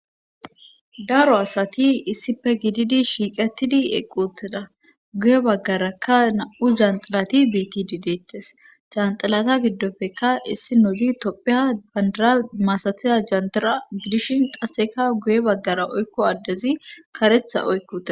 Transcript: daro asati issife gididi shiiqetidi eqqutida guye baggarakka na7u janxilati betidideettes janxilata giddoppeka issi nozi toppheha bandara masatiza jantira gidishin qasseka guye baggara oykko addezi karetha oykko teda